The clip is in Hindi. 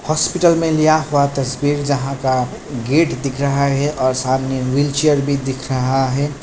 हॉस्पिटल में लिया हुआ तस्वीर जहां का गेट दिख रहा है और सामने व्हील चेयर भी दिख रहा है।